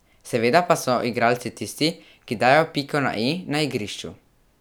Seveda pa so igralci tisti, ki dajo piko na i na igrišču.